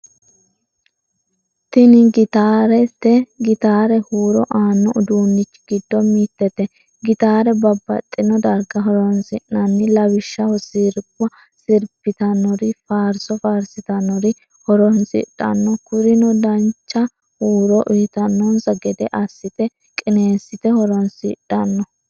Tini gittaarete, gitare huuru aanno uduunichi gido mitete, gittare babaxinno darga horonsinnani, lawishaho siriba siribitanori, faariso faarisitanori horonsidhanno, kurino dancha huuro uyitanonsa gede asite qinesite horonsidhamno